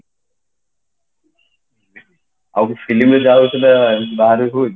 ଆଉ କିଛି film ରେ ହୁଏ କି